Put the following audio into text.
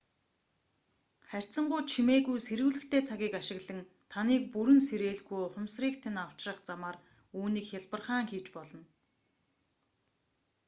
харьцангуй чимээгүй сэрүүлэгтэй цагийг ашиглан таныг бүрэн сэрээлгүй ухамсрыг тань авчрах замаар үүнийг хялбархан хийж болно